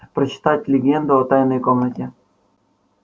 прочитать легенду о тайной комнате